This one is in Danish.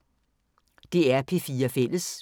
DR P4 Fælles